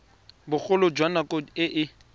bogolo jwa nako e e